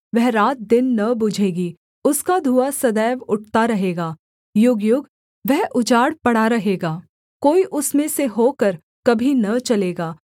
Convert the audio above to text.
वह रातदिन न बुझेगी उसका धुआँ सदैव उठता रहेगा युगयुग वह उजाड़ पड़ा रहेगा कोई उसमें से होकर कभी न चलेगा